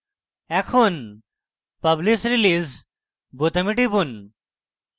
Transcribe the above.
এখন publish release বোতামে টিপুন